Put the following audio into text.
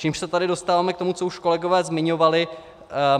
Čímž se tady dostáváme k tomu, co už kolegové zmiňovali.